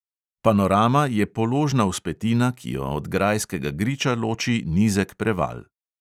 Panorama je položna vzpetina, ki jo od grajskega griča loči nizek preval.